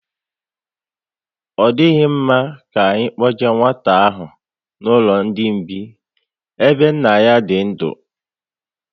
Ọ dịghị mma ka anyị kpoje nwata ahụ n'ụlọ ndị mgbei ebe nna ya dị ndu